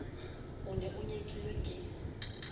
o ne o nyekilwe ke